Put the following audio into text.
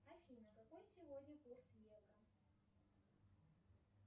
афина какой сегодня курс евро